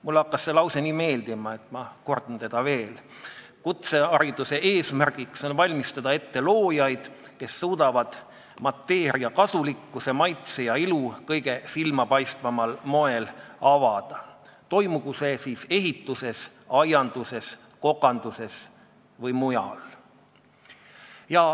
Mulle hakkas see lause nii meeldima, et ma kordan seda veel: kutsehariduse eesmärk on valmistada ette loojaid, kes suudavad mateeria kasulikkuse, maitse ja ilu kõige silmapaistvamal moel avada, toimugu see siis ehituses, aianduses, kokanduses või mujal.